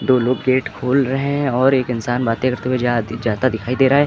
दो लोग गेट खोल रहे हैं और एक इंसान बातें करते हुए जाता दिखाई दे रहा है।